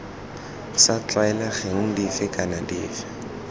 sa tlwaelegang dife kana dife